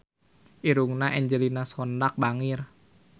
Irungna Angelina Sondakh bangir